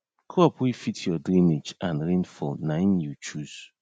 crop wey fit your drainage and rainfall naim you chose